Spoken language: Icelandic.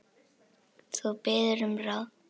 Þú biður um ráð.